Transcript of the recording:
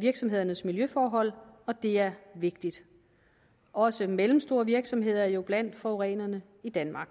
virksomhedernes miljøforhold og det er vigtigt også mellemstore virksomheder er jo blandt forurenerne i danmark